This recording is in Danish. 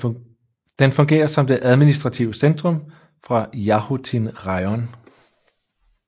Den fungerer som det administrative centrum for Jahotyn rajon